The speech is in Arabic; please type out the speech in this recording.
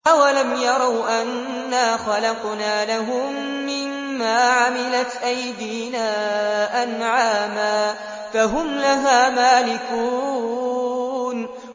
أَوَلَمْ يَرَوْا أَنَّا خَلَقْنَا لَهُم مِّمَّا عَمِلَتْ أَيْدِينَا أَنْعَامًا فَهُمْ لَهَا مَالِكُونَ